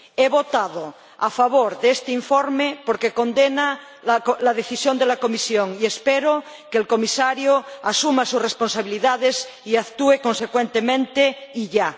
He votado a favor de este informe porque condena la decisión de la Comisión y espero que el Comisario asuma sus responsabilidades y actúe consecuentemente, y ya.